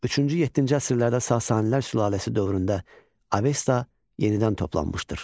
Üçüncü-yeddinci əsrlərdə Sasanilər sülaləsi dövründə Avesta yenidən toplanmışdır.